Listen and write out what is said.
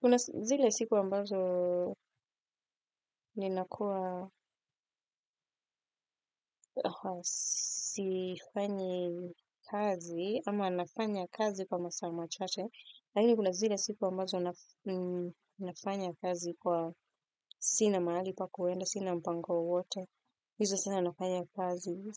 Kuna zile siku ambazo ninakuwa sifanyi kazi ama nafanya kazi kwa masaa machache. Lakini kuna zile siku ambazo nafanya kazi kuwa sina mahali pa kuenda, sina mpango wowote. Hizo sana nafanya kazi